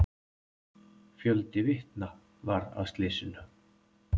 Fjöldi vitna var að slysinu.